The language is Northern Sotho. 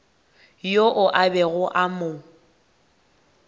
yoo a bego a mo